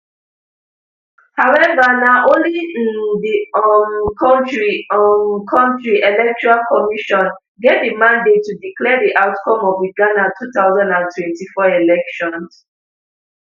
however na only m di um kontri um kontri electoral commission get di mandate to declare di outcome of di ghana two thousand and twenty-four elections